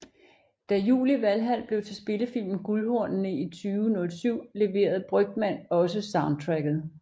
Da Jul i Valhal blev til spillefilmen Guldhornene i 2007 leverede Brygmann også soundtracket